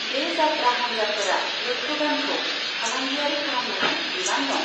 बे जात्रा हान्जाफोरा यक्षगानखौ फालांगियारि खालामनायाव बिबान दं।